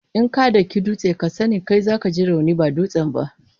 In ka daki dutse, kai sa ne za ka ji rauni ba dutsen ba.